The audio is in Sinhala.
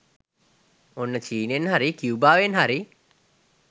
ඔන්න චීනෙන් හරි කියුබාවෙන් හරි